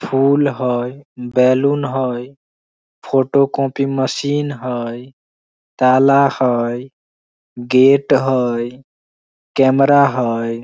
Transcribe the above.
फूल हई बैलून हई फोटो कॉपी मशीन हई ताला हई गेट हई कैमरा हई।